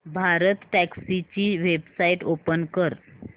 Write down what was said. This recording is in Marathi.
भारतटॅक्सी ची वेबसाइट ओपन कर